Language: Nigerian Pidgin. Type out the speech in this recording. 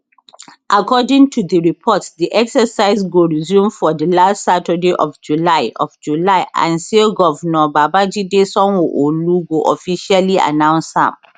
according to di reports di exercise go resume for di last saturday of july of july and say govnor babajide sanwoolu go officially announce am